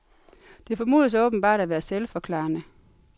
Det formodes åbenbart at være selvforklarende.